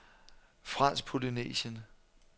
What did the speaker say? Fransk Polynesien